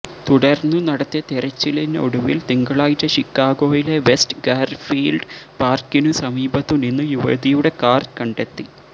തുടര്ന്നു നടത്തിയ തെരച്ചിലിനൊടുവില് തിങ്കളാഴ്ച ഷിക്കാഗോയിലെ വെസ്റ്റ് ഗാര്ഫീല്ഡ് പാര്ക്കിനു സമീപത്തുനിന്ന് യുവതിയുടെ കാര് കണ്ടെത്തി